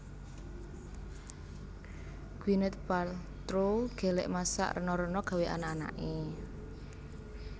Gwyneth Paltrow gelek masak rena rena gawe anak anake